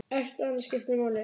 Ekkert annað skiptir máli.